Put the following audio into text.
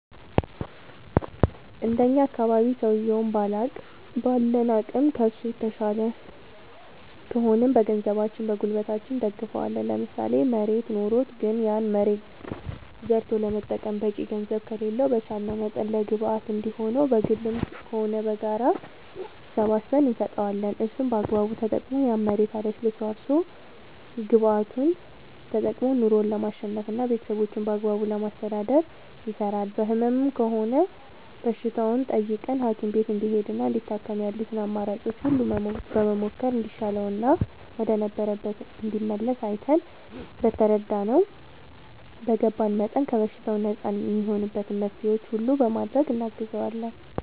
እንደኛ አካባቢ ሠውየዉን ባለን አቅም ከሡ የተሻልን ከሆንን በገንዘባችን በጉልበታችን እንደግፈዋለን ለምሳሌ መሬት ኖሮት ግን ያን መሬት ዘርቶ ለመጠቀም በቂ ገንዘብ ከሌለው በቻለንው መጠን ለግብአት እንዲሆነው በግልም ሆነ በጋራ ሰባስበን እንሰጠዋለን እሱም በአግባቡ ተጠቅሞ ያን መሬት አለስልሶ አርሶ ግብዓቱን ተጠቅሞ ኑሮው ለማሸነፍና ቤተሠቦቹን በአግባቡ ለማስተዳደር ይሰራል በህመም ከሆነም በሽታውን ጠይቀን ሀኪም ቤት እንዲሄድና እንዲታከም ያሉትን አማራጮች ሁሉ በመሞከር እንዲሻለውና ወደ ነበረበት እንዲመለስ አይተን በተረዳነው በገባን መጠን ከበሽታው ነፃ እሚሆንበትን መፍትሔዎች ሁሉ በማድረግ እናግዘዋለን